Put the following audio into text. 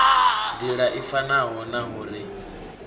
nḓila i fanaho naho ri